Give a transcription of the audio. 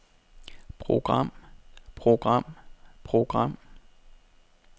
program program program